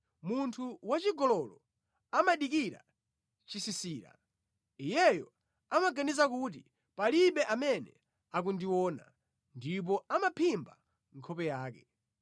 Munthu wachigololo amadikira chisisira; iyeyo amaganiza kuti, ‘Palibe amene akundiona,’ ndipo amaphimba nkhope yake.